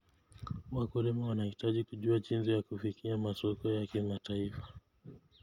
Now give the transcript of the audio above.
Wakulima wanahitaji kujua jinsi ya kufikia masoko ya kimataifa.